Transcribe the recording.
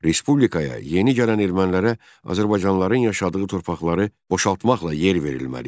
Respublikaya yeni gələn ermənilərə azərbaycanlıların yaşadığı torpaqları boşaltmaqla yer verilməli idi.